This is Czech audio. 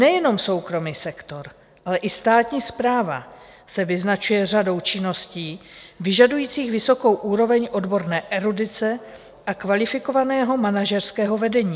Nejenom soukromý sektor, ale i státní správa se vyznačuje řadou činností vyžadujících vysokou úroveň odborné erudice a kvalifikovaného manažerského vedení.